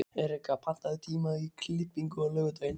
Erika, pantaðu tíma í klippingu á laugardaginn.